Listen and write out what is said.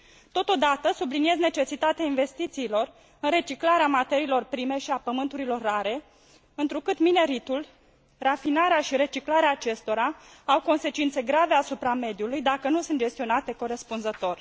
Totodată, subliniez necesitatea investițiilor în reciclarea materiilor prime și a pământurilor rare, întrucât mineritul, rafinarea și reciclarea acestora au consecințe grave asupra mediului, dacă nu sunt gestionate corespunzător.